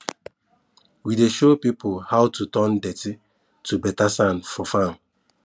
we dey show people how to turn dirty to better sand for farm